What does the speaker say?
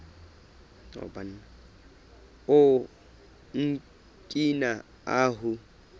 o okina ahu